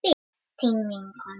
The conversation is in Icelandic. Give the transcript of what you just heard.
Þín vinkona